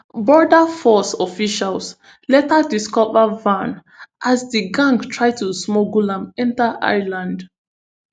border force officials later discover van as di gang try to smuggle am enta ireland